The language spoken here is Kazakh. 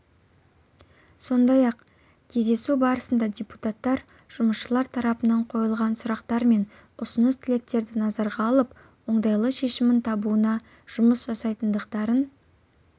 сондай-ақ кездесу барысында депутаттар жұмысшылар тарапынан қойылған сұрақтар мен ұсыныс тілектерді назарға алып оңтайлы шешімін табуына жұмыс жасайтындықтарын